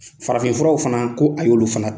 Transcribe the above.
Farafinfuraw fana ko a y'olu fana